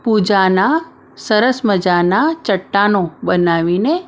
પૂજાના સરસ મજાના ચટ્ટાનો બનાવીને---